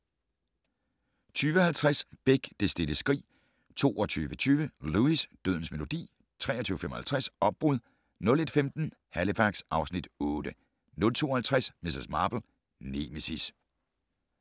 20:50: Beck: Det stille skrig 22:20: Lewis: Dødens melodi 23:55: Opbrud 01:15: Halifax (Afs. 8) 02:50: Miss Marple: Nemesis